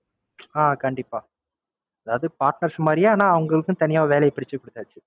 அஹ் கண்டிப்பா. அதாவது Partners மாதிரியே அவங்களுக்கு தனியா வேலைய பிரிச்சு கொடுத்தாச்சு.